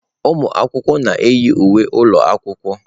Ụmụ akwụkwọ na-eyi uwe ụlọ akwụkwọ.